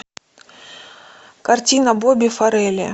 картина боби форелли